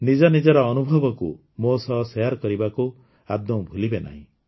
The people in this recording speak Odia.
ନିଜ ନିଜର ଅନୁଭବକୁ ମୋ ସହ ଶେୟାର କରିବାକୁ ଆଦୌ ଭୁଲିବେ ନାହିଁ